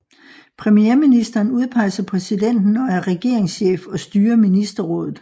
Premierministeren udpeges af præsidenten og er regeringschef og styrer ministerrådet